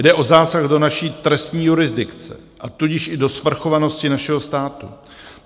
Jde o zásah do naší trestní jurisdikce, a tudíž i do svrchovanosti našeho státu.